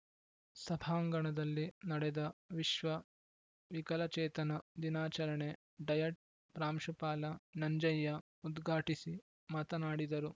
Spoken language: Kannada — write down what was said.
ಸಭಾಂಗಣದಲ್ಲಿ ನಡೆದ ವಿಶ್ವ ವಿಕಲಚೇತನ ದಿನಾಚರಣೆ ಡಯಟ್‌ ಪ್ರಾಂಶುಪಾಲ ನಂಜಯ್ಯ ಉದ್ಘಾಟಿಸಿ ಮಾತನಾಡಿದರು